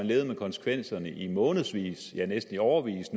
levet med konsekvenserne i månedsvis ja næsten i årevis